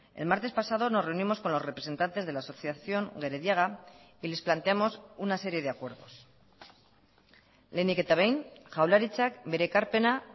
el martes pasado nos reunimos con los representantes de la asociación gerediaga y les planteamos una serie de acuerdos lehenik eta behin jaurlaritzak bere ekarpena